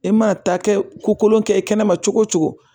E mana taa kɛ ko kolon kɛ kɛnɛma cogo cogo